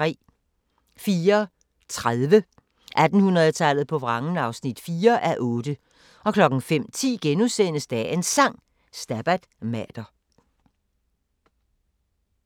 04:30: 1800-tallet på vrangen (4:8) 05:10: Dagens Sang: Stabat Mater *